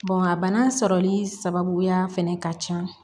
a bana sɔrɔli sababuya fɛnɛ ka ca